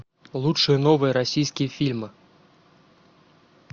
лучшие новые российские фильмы